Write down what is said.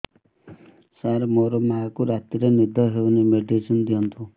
ସାର ମୋର ମାଆଙ୍କୁ ରାତିରେ ନିଦ ହଉନି ମେଡିସିନ ଦିଅନ୍ତୁ